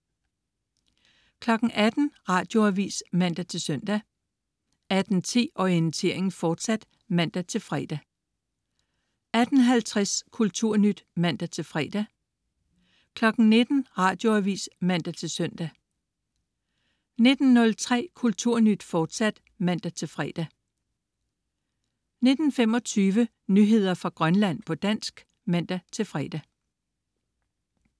18.00 Radioavis (man-søn) 18.10 Orientering, fortsat (man-fre) 18.50 Kulturnyt (man-fre) 19.00 Radioavis (man-søn) 19.03 Kulturnyt, fortsat (man-fre) 19.25 Nyheder fra Grønland, på dansk (man-fre)